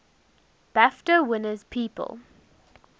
bafta winners people